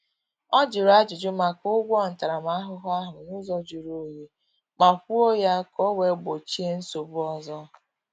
Ọ jụrụ ajuju maka ụgwọ ntaramahụhụ ahụ n’ụzọ juru onyi, ma kwụọ ya ka o wee gbochie nsogbu ọzọ